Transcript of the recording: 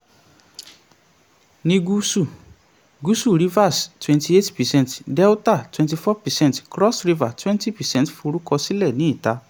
ní gúúsù ìlà-oòrùn, Ebonyi thirty-five percent, Anambra twenty-eight percent, Abia twenty-five percent forúkọsílẹ̀ ní ìta.